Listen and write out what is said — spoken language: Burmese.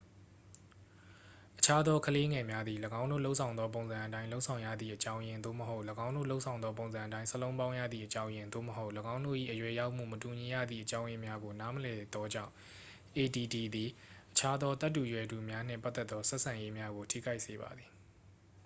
အခြားသောကလေးငယ်များသည် ၎င်းတို့လုပ်ဆောင်သောပုံစံအတိုင်း လုပ်ဆောင်ရသည့်အကြောင်းရင်း သို့မဟုတ် ၎င်းတို့လုပ်ဆောင်သောပုံစံအတိုင်း စာလုံးပေါင်းရသည့်အကြောင်းရင်း သို့မဟုတ် ၎င်းတို့၏ အရွယ်ရောက်မှု မတူညီရသည့်အကြောင်းရင်းများကို နားမလည်သောကြောင့် add သည် အခြားသောသက်တူရွယ်တူများနှင့်ပတ်သက်သော ဆက်ဆံရေးများကို ထိခိုက်စေပါသည်